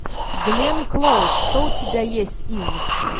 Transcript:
гленн клоуз что у тебя есть из